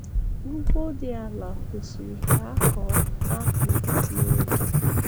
Ugbo dị ala kwesiri ka akọọ akpụ n'oge.